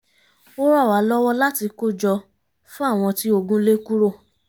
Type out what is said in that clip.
ó ran wa lọ́wọ́ láti kó jọ fún àwọn tí ogun lé kúrò